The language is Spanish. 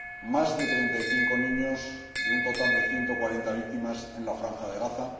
Más de 35 niños de un total de 140 víctimas en la Franja de Gaza